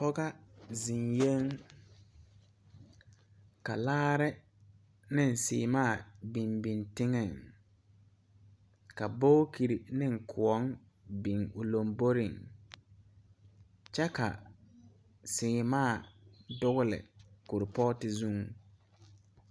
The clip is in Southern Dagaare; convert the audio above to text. Pɔgɔ zeŋyɛŋ ka laare neŋ sèèmaa biŋ biŋ teŋɛŋ ka bookirre neŋ kõɔŋ biŋ o lomboreŋ kyɛ ka sèèmaa dugle koropɔɔte zuŋ.